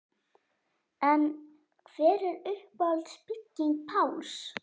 En hver er uppáhalds bygging Páls?